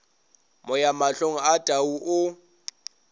moya mahlong a tau o